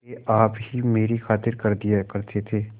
वे आप ही मेरी खातिर कर दिया करते थे